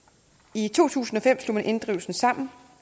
i to tusind og fem slog man inddrivelsen sammen